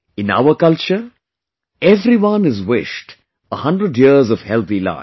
In our culture, everyone is wished a hundred years of healthy life